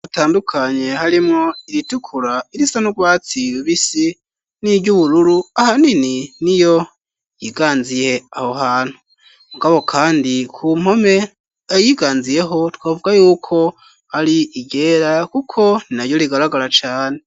Amabara atandukanye harimwo iritukura, irisa n'urwatsi rubisi, n'iryubururu ahanini niyo yiganziye aho hantu, mugabo kandi kumpome ayiganziyeho twovuga yuko ari iryera kuko ntinaryo rigaragara cane.